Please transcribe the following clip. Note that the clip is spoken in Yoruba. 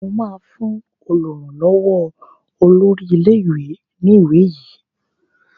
O ma fún olùrànlówó olórí ilé ìwé ní ìwé yí!